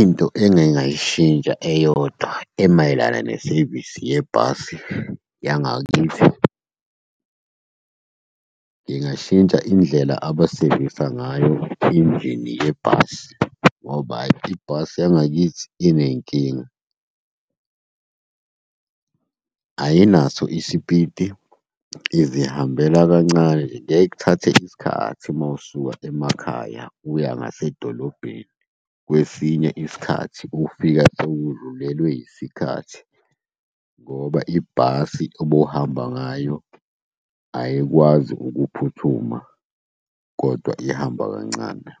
Into engingayishintsha eyodwa emayelana nesevisi yebhasi yangakithi, ngingashintsha indlela abasevisa ngayo injini yebhasi, ngoba hhayi ibhasi yangakithi iney'nkinga. Ayinaso isipiti, izihambela kancane kuyaye kuthathe isikhathi uma usuka emakhaya uya ngasedolobheni. Kwesinye isikhathi ufika sewudlulelwe yisikhathi ngoba ibhasi obuhamba ngayo ayikwazi ukuphuthuma, kodwa ihamba kancane.